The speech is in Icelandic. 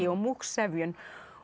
og múgsefjun